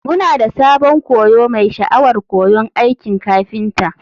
Muna da sabon koyo mai sha'awar koyon aikin kafinta.